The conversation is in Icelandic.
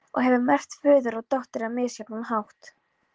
Og hefur merkt föður og dóttur á misjafnan hátt.